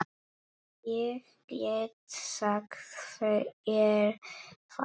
Ég get sagt þér það